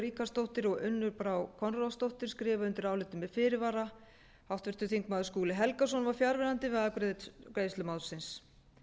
ríkharðsdóttir og unnur brá konráðsdóttir skrifa undir álitið með fyrirvara háttvirtur þingmaður skúli helgason var fjarverandi við afgreiðslu málsins